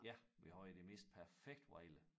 Ja vi havde det mest perfekte vejr